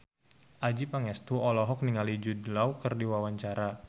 Adjie Pangestu olohok ningali Jude Law keur diwawancara